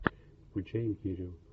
включай империю